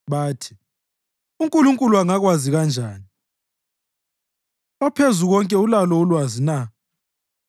Bathi, “UNkulunkulu angakwazi kanjani? OPhezukonke ulalo ulwazi na?”